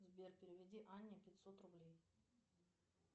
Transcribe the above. сбер переведи анне пятьсот рублей